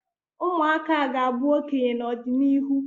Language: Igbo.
ụmụaka ga-abụ okenye n'ọdịnihu